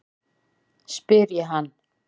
spyr ég hann.